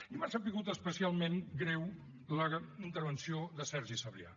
i m’ha sabut especialment greu la intervenció de sergi sabrià